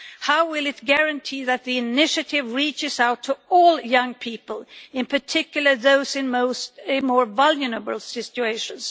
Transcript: How will it guarantee that the initiative reaches out to all young people, in particular those in more vulnerable situations?